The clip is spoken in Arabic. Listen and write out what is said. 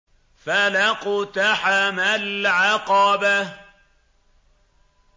فَلَا اقْتَحَمَ الْعَقَبَةَ